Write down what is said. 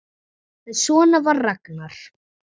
En svona var Ragnar.